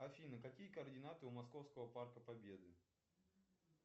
афина какие координаты у московского парка победы